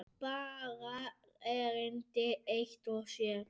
Baga erindi eitt og sér.